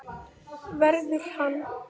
Verður hann.